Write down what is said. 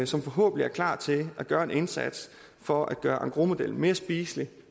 som forhåbentlig er klar til at gøre en indsats for at gøre engrosmodellen mere spiselig